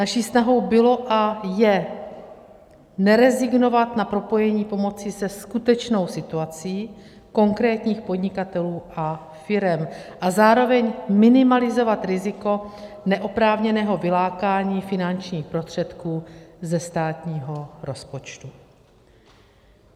Naší snahou bylo a je nerezignovat na propojení pomoci se skutečnou situací konkrétních podnikatelů a firem a zároveň minimalizovat riziko neoprávněného vylákání finančních prostředků ze státního rozpočtu.